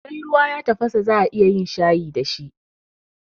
Sai ruwa ya tafasa za'a iya yin shayi dashi